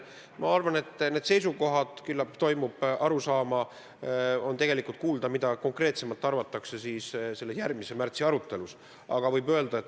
Ma arvan, et need seisukohad, mida konkreetsemalt arvatakse, selguvad järgmises arutelus märtsikuus.